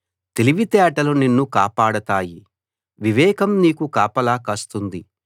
తెలివితేటలు నిన్ను కాపాడతాయి వివేకం నీకు కాపలా కాస్తుంది